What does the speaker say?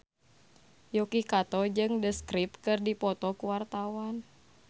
Yuki Kato jeung The Script keur dipoto ku wartawan